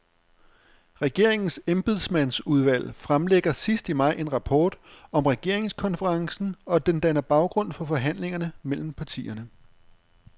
Regeringens embedsmandsudvalg fremlægger sidst i maj en rapport om regeringskonferencen, og den danner baggrund for forhandlingerne mellem partierne.